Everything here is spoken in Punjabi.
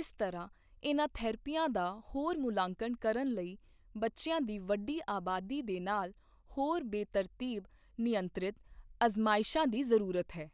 ਇਸ ਤਰ੍ਹਾਂ ਇਨ੍ਹਾਂ ਥੈਰੇਪੀਆਂ ਦਾ ਹੋਰ ਮੁੱਲਾਂਕਣ ਕਰਨ ਲਈ ਬੱਚਿਆਂ ਦੀ ਵੱਡੀ ਆਬਾਦੀ ਦੇ ਨਾਲ ਹੋਰ ਬੇਤਰਤੀਬ, ਨਿਯੰਤ੍ਰਿਤ ਅਜ਼ਮਾਇਸ਼ਾਂ ਦੀ ਜ਼ਰੂਰਤ ਹੈ।